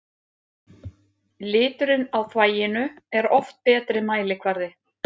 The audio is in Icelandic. Liturinn á þvaginu er oft betri mælikvarði.